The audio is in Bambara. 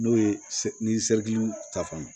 N'o ye ni ta fan ye